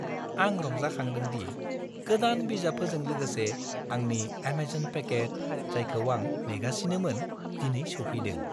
आं रंजाखांदों दि गोदान बिजाबफोरजों लोगोसे आंनि एमेजन पेकेट, जायखौ आं नेगासिनोमोन, दिनै सौफैदों।